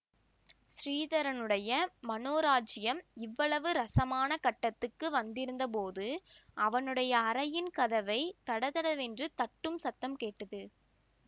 ஸ்ரீதரனுடைய மனோராஜ்யம் இவ்வளவு ரஸமான கட்டத்துக்கு வந்திருந்த போது அவனுடைய அறையின் கதவை தடதடவென்று தட்டும் சத்தம் கேட்டது